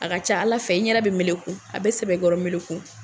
A ka ca ala fɛ, i ɲɛda bi meleku a be sɛbɛkɔrɔ meleku